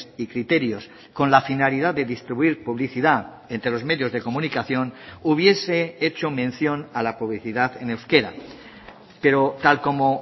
y criterios con la finalidad de distribuir publicidad entre los medios de comunicación hubiese hecho mención a la publicidad en euskera pero tal como